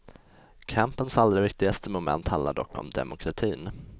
Kampens allra viktigaste moment handlar dock om demokratin.